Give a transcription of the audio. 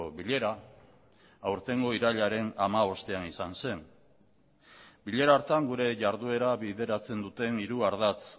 bilera aurtengo irailaren hamabostean izan zen bilera hartan gure jarduera bideratzen duten hiru ardatz